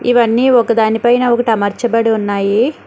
ఇవన్నీ ఒకదాని పైన ఒకటి అమర్చబడి ఉన్నాయి.